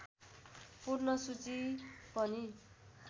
पूर्ण सूची पनि